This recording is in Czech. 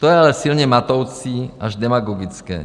To je ale silně matoucí až demagogické.